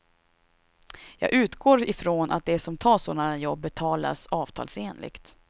Jag utgår ifrån att de som tar sådana jobb betalas avtalsenligt.